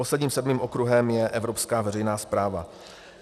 Posledním, sedmým okruhem je evropská veřejná správa.